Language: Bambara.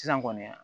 Sisan kɔni